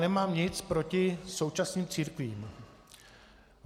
Nemám nic proti současným církvím.